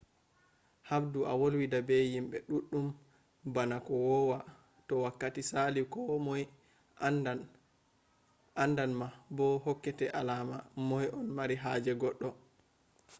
haɓdu a wolwida be yimbe ɗuɗɗum bana ko wowa. to wakkati saali ko moy andan ma bo hokkete alama moy on mari haaje goɗɗo